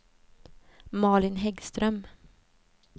Malin Häggström